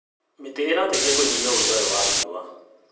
Mĩtĩ ĩrateithia kũnyihia rũgarĩ wa riũa.